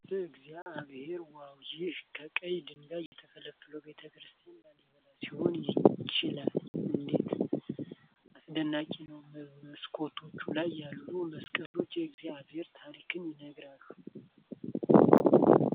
በእግዚአብሔ ዋው! ይህ ከቀይ ድንጋይ የተፈለፈለው ቤተ ክርስቲያን (ላሊበላ ሊሆን ይችላል) እንዴት አስደናቂ ነው! በመስኮቶቹ ላይ ያሉት መስቀሎች የእግዚአብሔርን ታሪክ ይናገራሉ!